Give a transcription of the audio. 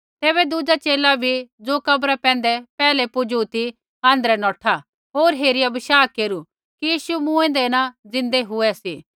तैबै दुज़ा च़ेला भी ज़ो कब्रा पैंधै पेहलै पुजू ती आँध्रै नौठा होर हेरिया बशाह केरू कि यीशु मूँऐंदै न ज़िन्दै हुए